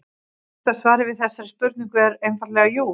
Stutta svarið við þessari spurningu er einfaldlega jú.